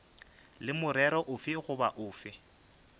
le morero ofe goba ofe